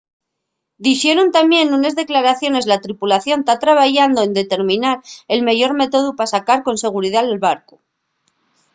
dixeron tamién nunes declaraciones la tripulación ta trabayando en determinar el meyor métodu pa sacar con seguridá’l barcu